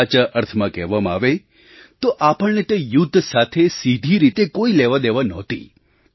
સાચા અર્થમાં કહેવામાં આવે તો આપણને તે યુદ્ધ સાથે સીધી રીતે કોઈ લેવાદેવા નહોતી